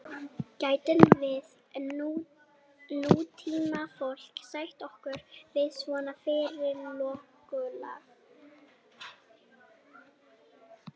gætum við nútímafólk sætt okkur við svona fyrirkomulag